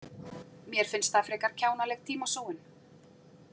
Mér finnst það frekar kjánaleg tímasóun.